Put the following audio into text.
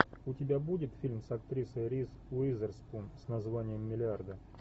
у тебя будет фильм с актрисой риз уизерспун с названием миллиарды